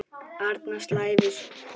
Annars slævist hún.